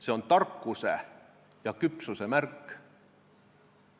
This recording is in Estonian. See on tarkuse ja küpsuse märk.